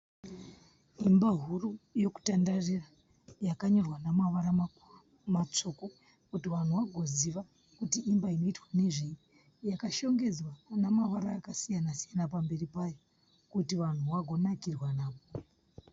Imba huru yokutandarira yakanyorwa namavara makuru matsvuku kuti vanhu vagoziva kuti imba inoitwa nezvei. Yakashongedzwa nemavara akasiyana-siyana pamberi payo kuti vanhu vago nakirwa napo.